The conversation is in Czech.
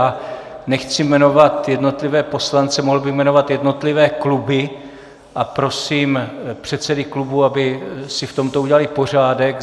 A nechci jmenovat jednotlivé poslance, mohl bych jmenovat jednotlivé kluby a prosím předsedy klubů, aby si v tomto udělali pořádek.